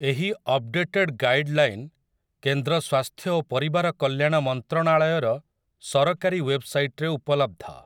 ଏହି updated guideline କେନ୍ଦ୍ର ସ୍ୱାସ୍ଥ୍ୟ ଓ ପରିବାର କଲ୍ୟାଣ ମନ୍ତ୍ରଣାଳୟର ସରକାରୀ ୱେବସାଇଟ୍‌ରେ ଉପଲବ୍ଧ ।